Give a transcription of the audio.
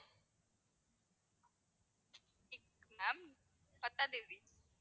ten ma'am பத்தாம் தேதி